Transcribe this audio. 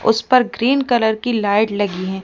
उस पर green colour की लाइट लगी हैं।